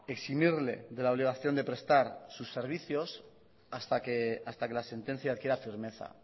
eximirle de la obligación de prestar sus servicios hasta que la sentencia adquiera firmeza